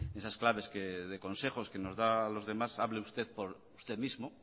esas claves de consejo que nos da a los demás hable usted por usted mismo